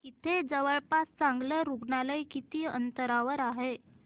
इथे जवळपास चांगलं रुग्णालय किती अंतरावर आहे